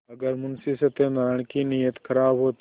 अगर मुंशी सत्यनाराण की नीयत खराब होती